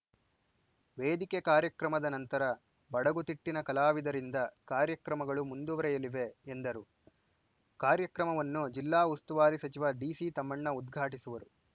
ವೇದಿಕೆ ಕಾರ್ಯಕ್ರಮದ ನಂತರ ಬಡಗುತಿಟ್ಟಿನ ಕಲಾವಿದರಿಂದ ಕಾರ್ಯಕ್ರಮಗಳು ಮುಂದುವರೆಯಲಿವೆ ಎಂದರು ಕಾರ್ಯಕ್ರಮವನ್ನು ಜಿಲ್ಲಾ ಉಸ್ತುವಾರಿ ಸಚಿವ ಡಿಸಿತಮ್ಮಣ್ಣ ಉದ್ಘಾಟಿಸುವರು